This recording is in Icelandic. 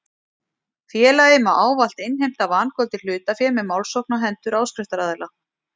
Félagið má ávallt innheimta vangoldið hlutafé með málsókn á hendur áskriftaraðila.